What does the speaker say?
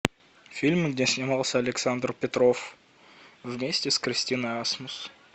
фильм где снимался александр петров вместе с кристиной асмус